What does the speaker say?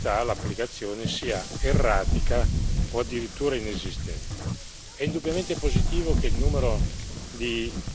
Poi abbiamo visto come per altre materie, in verità, l'applicazione sia erratica o addirittura inesistente.